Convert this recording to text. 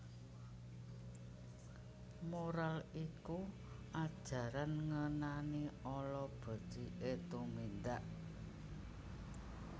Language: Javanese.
Moral iku ajaran ngenani ala beciké tumindak